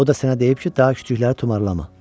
O da sənə deyib ki, daha kiçikləri tumarlama.